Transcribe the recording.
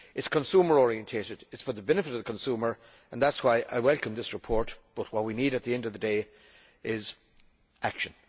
It is consumer orientated, it is for the benefit of the consumer and that is why I welcome this report because what we need at the end of the day is action.